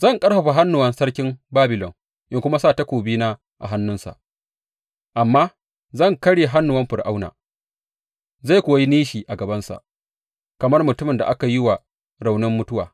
Zan ƙarfafa hannuwan sarkin Babilon in kuma sa takobina a hannunsa, amma zan karya hannuwan Fir’auna, zai kuwa yi nishi a gabansa kamar mutumin da aka yi wa raunin mutuwa.